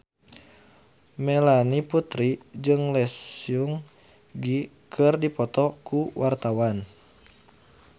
Melanie Putri jeung Lee Seung Gi keur dipoto ku wartawan